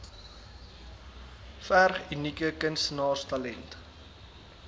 verg unieke kunstenaarstalent